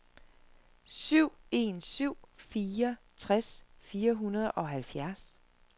syv en syv fire tres fire hundrede og halvfjerds